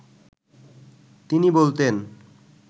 তিনি বলতেন